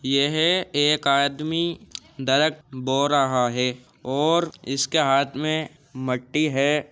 यह एक आदमी दरक बो रहा है और इसके हाथ में मट्टी है।